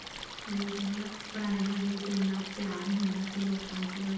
ਵੀ ਕਿਆ ਕਹਿਨੇ ਹਾਂ ਪੁਰਾਣੇ ਜ਼ਮਾਨੇ ਵਿੱਚ ਇੰਨਾ ਪਿਆਰ ਹੁੰਦਾ ਸੀ ਲੋਕਾਂ ਵਿੱਚ